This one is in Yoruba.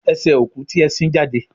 Ese oku ti e sin jade.